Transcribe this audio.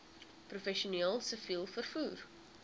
professioneel siviel vervoer